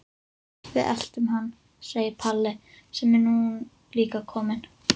Við eltum hann, segir Palli sem er nú líka kominn.